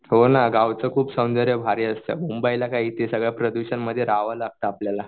हो ना गावचं खूप सौंदर्य भारी असतं मुंबईला काय इथे सर्व प्रदूषणामध्ये राहावं लागतं आपल्याला.